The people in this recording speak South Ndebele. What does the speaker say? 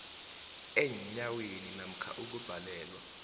eenyaweni namkha ukubhalelwa